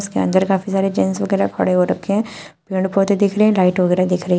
इसके अंदर काफी सारे जेंट्स वगैरह खड़े हो रखे हैं पेड़ पौधे दिख रहे हैं लाइट वगैरह दिख रही है।